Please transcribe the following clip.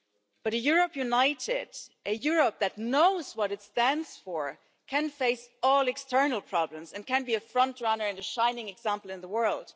But a Europe united, a Europe that knows what it stands for, can face all external problems and can be a front runner and a shining example in the world.